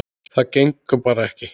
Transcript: Það gengur bara ekki.